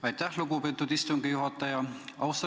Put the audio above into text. Aitäh, lugupeetud istungi juhataja!